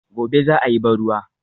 Gobe ​​za a yi ban ruwa